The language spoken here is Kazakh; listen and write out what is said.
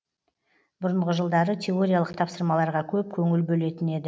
бұрынғы жылдары теориялық тапсырмаларға көп көңіл бөлетін еді